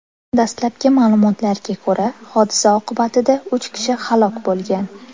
Dastlabki ma’lumotlarga ko‘ra, hodisa oqibatida uch kishi halok bo‘lgan.